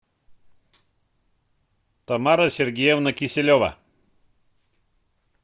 тамара сергеевна киселева